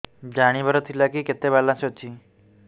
ଜାଣିବାର ଥିଲା କି କେତେ ବାଲାନ୍ସ ଅଛି